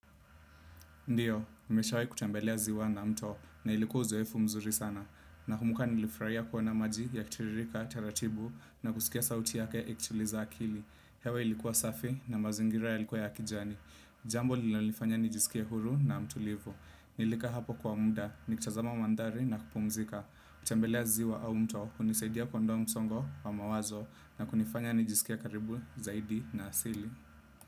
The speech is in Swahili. Ndiyo, nimeshawahi kutembelea ziwa na mto na ilikuwa uzoefu mzuri sana. Na kumbuka nilifraia kuona maji yakitiririka, taratibu na kusikia sauti yake ikituliza akili. Hewa ilikuwa safi na mazingira yalikuwa ya kijani. Jambo linanifanya nijisikie huru na mtulivu. Nilikaa hapo kwa muda, nikitazama maandhari na kupumzika. Kutembelea ziwa au mto, hunisaidia kuondoa msongo wa mawazo na kunifanya nijisikie karibu zaidi na asili.